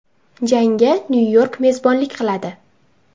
Jangga Nyu-York mezbonlik qiladi.